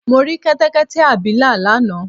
Mo rí Kẹ́tẹ́kẹ́tẹ́ abilà lánàá